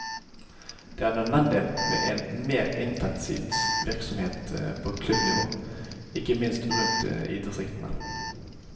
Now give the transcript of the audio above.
Det er nødvendig med en mer intensivert virksomhet på klubbnivå, ikke minst rundt i distriktene.